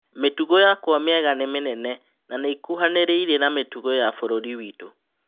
Mĩ tugo yakwa mĩ ega ni mĩ nene na nĩ ĩ kuhanĩ rĩ irie na mĩ tugo ya bũrũri witũ.